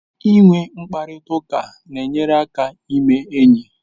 Inwe mkparịta ụka na-enyere aka ime enyi